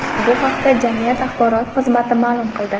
Bu haqda jamiyat axborot xizmati ma’lum qildi .